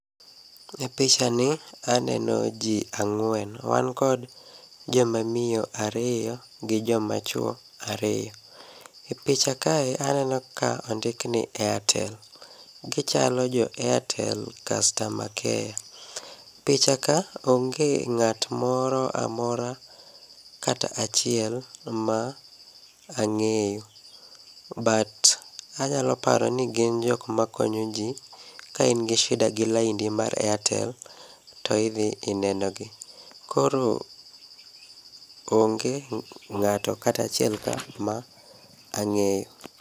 E picha ni, aneno ji ang'wen. Wan kod jomamiyo ariyo gi jomachwo ariyo. E picha ka aneno ka ondik ni Airtel. Gichalo jo Airtel customer care. Picha ka onge ng'at moro amora kata achiel ma ang'eyo. But, anyalo paro ni gin jok makonyo ji kain gi shida gi laindi mar Airtel to idhi inenogi. Koro onge ng'ato kata achielka ma ang'eyo.